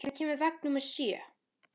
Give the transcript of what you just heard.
Beggi, hvenær kemur vagn númer sjö?